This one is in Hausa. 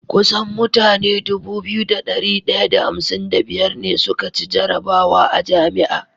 kusan mutane Dubu biyu da dari daya da hamsin da biyar ne suka ci jarabwa a jami'a